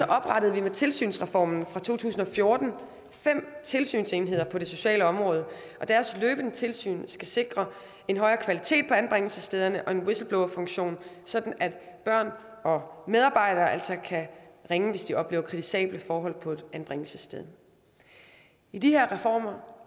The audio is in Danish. oprettede vi med tilsynsreformen fra to tusind og fjorten fem tilsynsenheder på det sociale område og deres løbende tilsyn skal sikre en højere kvalitet på anbringelsesstederne og en whistleblowerfunktion sådan at børn og medarbejdere altså kan ringe hvis de oplever kritisable forhold på et anbringelsessted i de her reformer